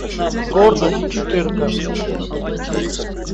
гордость четырка